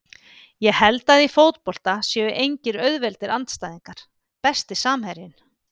Ég held að í fótbolta séu engir auðveldir andstæðingar Besti samherjinn?